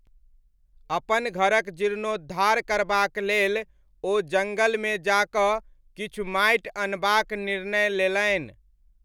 अपन घरक जीर्णोद्धार करबाक लेल, ओ जङ्गलमे जा कऽ किछु माटि अनबाक निर्णय लेलनि।